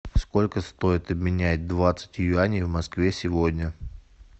сколько стоит обменять двадцать юаней в москве сегодня